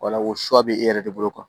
Wala o bɛ e yɛrɛ de bolo kuwa